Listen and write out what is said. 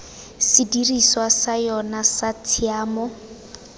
sedirisiwa sa yona sa tshiamiso